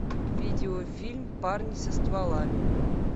видеофильм парни со стволами